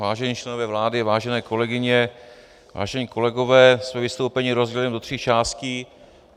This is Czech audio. Vážení členové vlády, vážené kolegyně, vážení kolegové, své vystoupení rozdělím do tří částí.